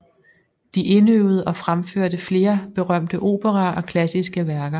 De indøvede og fremførte flere berømte operaer og klassiske værker